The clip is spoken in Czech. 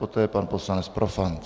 Poté pan poslanec Profant.